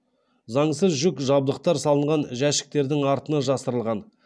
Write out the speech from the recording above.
заңсыз жүк жабдықтар салынған жәшіктердің артына жасырылған